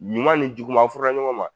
Ɲuman ni juguman an furula ɲɔgɔn ma